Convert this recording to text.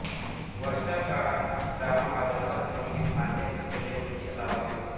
वर्षां काळात श्रावणभाद्रपद महिने फांद्या फुटलेले वृक्ष लावावे